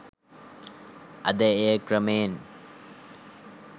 අද එය ක්‍රමයෙන්